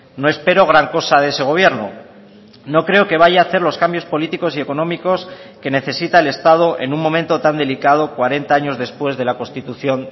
no espero gran cosa de ese gobierno no creo que vaya a hacer los cambios políticos y económicos que necesita el estado en un momento tan delicado cuarenta años después de la constitución